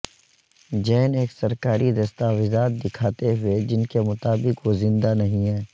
جین ایک سرکاری دستاویزات دکھاتے ہوئے جن کے مطابق وہ زندہ نہیں ہیں